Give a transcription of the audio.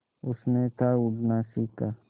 उसने था उड़ना सिखा